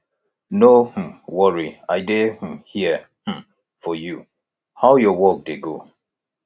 no um worry i dey um here um for you how your work dey go